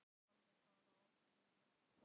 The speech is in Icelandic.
Palli talaði aldrei við mig eftir þetta.